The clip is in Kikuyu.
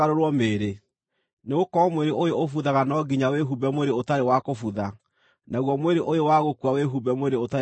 Nĩgũkorwo mwĩrĩ ũyũ ũbuthaga no nginya wĩhumbe mwĩrĩ ũtarĩ wa kũbutha, naguo mwĩrĩ ũyũ wa gũkua wĩhumbe mwĩrĩ ũtarĩ wa gũkua.